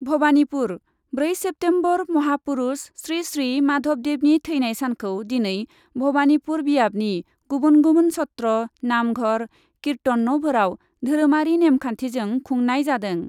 भबानिपुर, ब्रै सेप्तेम्बरः महापुरुष श्री श्री माधबदेबनि थैनाय सानखौ दिनै भबानिपुर बियाबनि गुबुन गुबुन सत्र, नामघर, कीर्टन न'फोराव धोरोमारि नेमखान्थिजों खुंनाय जादों ।